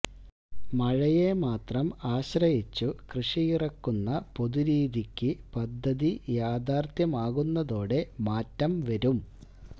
മഴയെ മാത്രം ആശ്രയിച്ചു കൃഷിയിറക്കുന്ന പൊതുരീതിക്കു പദ്ധതി യാഥാർഥ്യമാകുന്നതോടെ മാറ്റം വരും